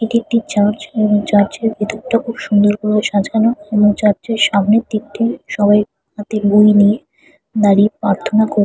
এটি একটি চার্চ এবং চার্চ এর ভেতরটা খুব সুন্দর ভাবে সাজানো এবং চার্চে সামনের দিকটা সবার হাতে বই নিয়ে দাঁড়িয়ে প্রার্থনা কর--